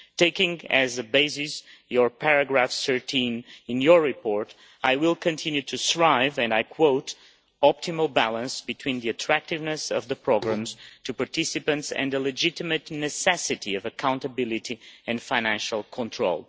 Taking as a basis paragraph 13 in your report I will continue to strive for, and I quote, optimal balance between the attractiveness of programmes to participants and the legitimate necessity of accountability and financial control.'